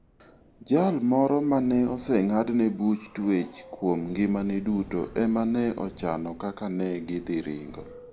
Jal moro ma ne oseng'adne buch twech kuom ngimane duto ema ne ochano kaka ne gidhi ringo.